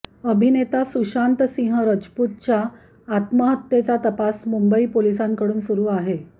अभिनेता सुशांत सिंह राजपूतच्या आत्महत्येचा तपास मुंबई पोलिसांकडून सुरु आहे